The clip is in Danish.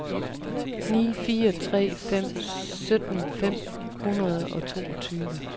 ni fire tre fem sytten fem hundrede og toogtyve